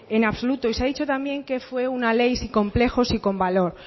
en absoluto y se ha dicho también que fue una ley sin complejos y con valor